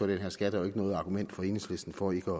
den her skat er jo ikke noget argument for enhedslisten for ikke